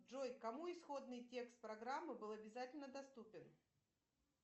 джой кому исходный текст программы был обязательно доступен